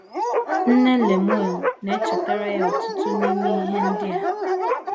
Nne Lemuel na - echetara ya ọtụtụ n’ime ihe ndị a.